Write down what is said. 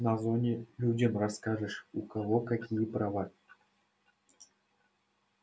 на зоне людям расскажешь у кого какие права